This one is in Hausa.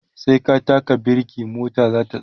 sai ka taka birke mota zata tsaya